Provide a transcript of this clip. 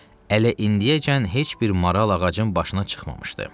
“Ələ indiyəcən heç bir maral ağacın başına çıxmamışdı.